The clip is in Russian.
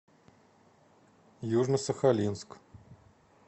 южно сахалинск